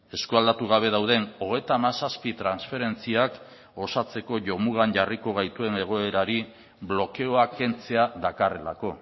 eskualdatu gabe dauden hogeita hamazazpi transferentziak osatzeko jo mugan jarriko gaituen egoerari blokeoa kentzea dakarrelako